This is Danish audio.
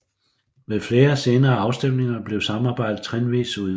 Ved flere senere afstemninger blev samarbejdet trinvis udvidet